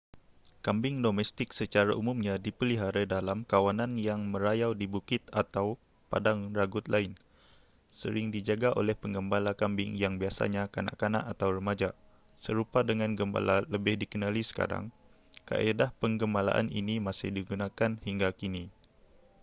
kambing domestik secara umumnya dipelihara dalam kawanan yang merayau di bukit atau padang ragut lain sering dijaga oleh penggembala kambing yang biasanya kanak-kanak atau remaja serupa dengan gembala lebih dikenali sekarang kaedah penggembalaan ini masih digunakan hingga kini